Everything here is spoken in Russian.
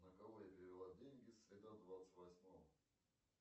на кого я перевела деньги среда двадцать восьмого